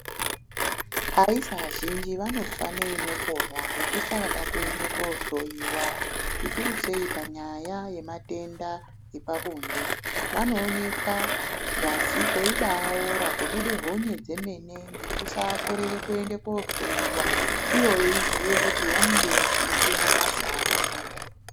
Aisa azhinji vanofa neinoponwa ngekusada kuende kohloyiwa, zvikuru sei panyaya yematenda epabonde. Vanoonekwa dzasi kweibaora, kubude honye dzemene ngekusakorere koende kohloyiwa ivo veiziye kuti vanenge vachiite mabasa akashata.